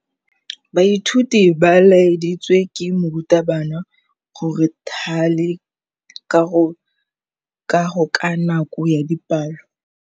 Baithuti ba laeditswe ke morutabana gore ba thale kagô ka nako ya dipalô.